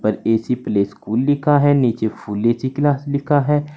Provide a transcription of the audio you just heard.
ऊपर AC play school लिखा है नीचे फुल ए_सी क्लास लिखा है।